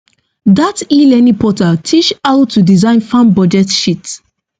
dat elearning portal teach how to design farm budget sheet